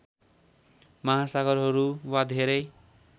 महासागरहरू वा धेरै